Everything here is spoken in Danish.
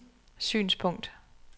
synspunkt